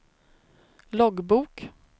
loggbok